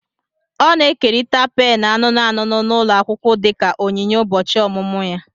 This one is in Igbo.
Ọ na-ekerịta pènù anụnụ anụnụ n'ụlọ akwụkwọ dịka onyinye ụbọchị ọmụmụ ya